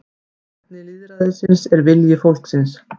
Kjarni lýðræðisins er vilji fólksins